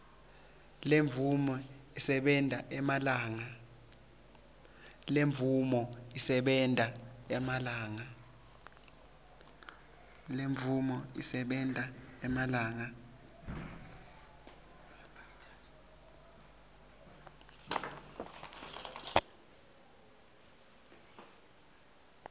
lemvume isebenta emalanga